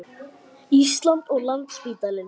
Íslands og Landspítalann.